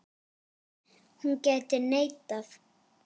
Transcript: Hún gæti neitað.